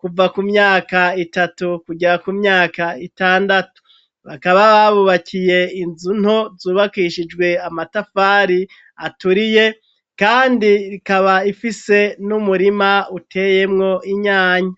kuva ku myaka itatu kugera ku myaka itandatu ,bakaba babubakiye inzu nto zubakishijwe amatafari aturiye kandi ikaba ifise n'umurima uteyemwo inyanya.